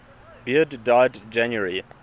beard died january